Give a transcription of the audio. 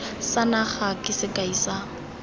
sa naga ke sekai sa